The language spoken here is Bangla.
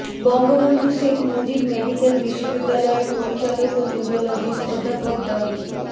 বঙ্গবন্ধু শেখ মুজিব মেডিক্যাল বিশ্ববিদ্যালয়ের পরিচালক ও নিওরোলজিস্ট অধ্যাপক ডা